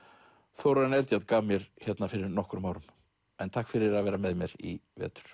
Þórarinn Eldjárn gaf mér hérna fyrir nokkrum árum en takk fyrir að vera með mér í vetur